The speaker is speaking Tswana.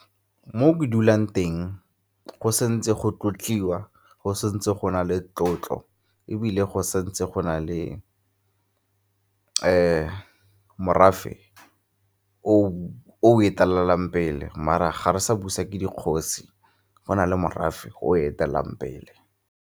Mo ke dulang teng go se ntse go tlotliwa, go se ntse go na le tlotlo ebile go setse go na le morafe o etelelang pele, mara ga re sa busa ke dikgosi go na le morafe o o etelelang pele.